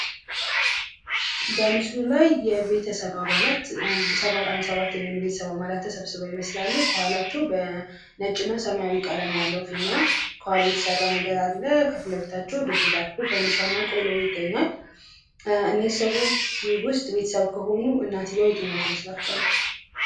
በምስሉ ላይ የቤተሰብ አባላት አንድ ሰባት የሚሆኑ የቤተሰብ አባላት ተሰብስበው ይመስላሉ። ከኋላቸው በነጭና ሰማያዊ የተሰራ ፊኛ ነገር አለ። ከፊትለፊታቸዉ ድፎ ዳቦ እና ቆሎ ይገኛል። እነዚህ ሰዎች ቤተሰብ ከሆኑ እናትየዋ የትኛዋ ትመስልላችኋለች?